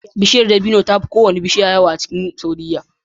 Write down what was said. Bishiyar dabino tafi kowace bishiya yawa a ƙasar saudia